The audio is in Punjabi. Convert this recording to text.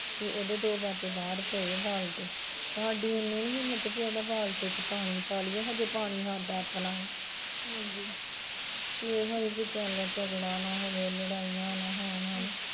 ਤੇ ਉਹਦੇ ਦੋ ਬਾਟੇ ਬਾਹਰ ਪਏ ਐ ਬਾਲਟੇ, ਸਾਡੀ ਈਣੀ ਨੀ ਹਿੱਮਤ ਵੀ ਉਹਦੇ ਬਾਲਟੇ ਚ ਪਾਣੀ ਪਾ ਲਈਏ ਹਜੇ ਪਾਣੀ ਸਾਡਾ ਆਪਣਾ ਇਹੋ ਵੀ ਚੱਲ ਝਗੜਾ ਨਾ ਹੋਏ ਲੜਾਈਆਂ ਨਾ ਹੋਣ ਹੈਨਾ